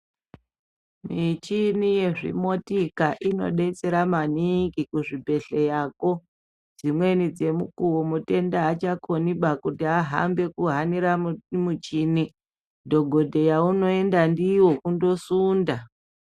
Michini yezvi motika inodetsera maningi kuzvibhehleyako dzimweni dzemukuwo mutenda achakoni kuhanira muchini dhokodheya unoenda ndiyo kundosunda.